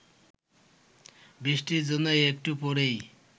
বৃষ্টির জন্য একটু পরেই